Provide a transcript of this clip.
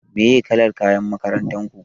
Me kalar kayan makarantar ku?